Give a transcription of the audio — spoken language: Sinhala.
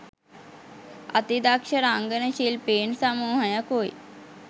අතිදක්ෂ රංගන ශිල්පීන් සමූහයකුයි.